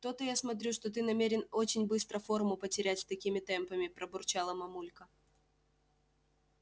то-то я смотрю что ты намерен очень быстро форму потерять с такими темпами пробурчала мамулька